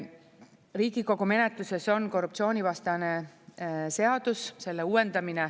Riigikogu menetluses on korruptsioonivastane seadus, selle uuendamine.